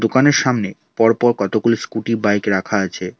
দোকানের সামনে পরপর কতগুলি স্কুটি বাইক রাখা আছে।